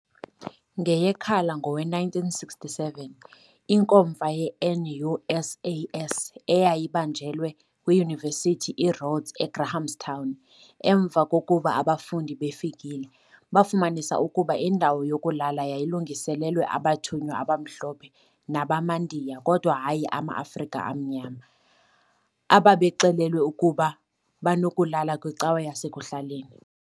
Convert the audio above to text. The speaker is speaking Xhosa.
NgeyeKhala ngowe-1967, inkomfa ye-NUSAS eyabanjelwe kwiYunivesithi iRhodes eGrahamstown, emva kokuba abafundi befikile, bafumanisa ukuba indawo yokulala yayilungiselelwe abathunywa abamhlophe nabamaNdiya kodwa hayi amaAfrika amnyama, ababexelelwe ukuba banokulala kwicawa yasekuhlaleni.